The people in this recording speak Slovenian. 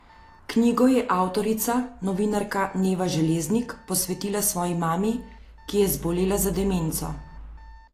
Knjigo je avtorica, novinarka Neva Železnik, posvetila svoji mami, ki je zbolela za demenco.